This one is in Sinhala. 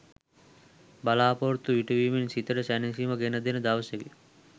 බලා‍පොරොත්තු ඉටුවීමෙන් සිතට සැනසීමක් ගෙන දෙන දවසකි.